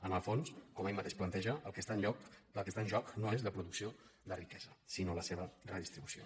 en el fons com ell mateix planteja el que està en joc no és la producció de riquesa sinó la seva redistri·bució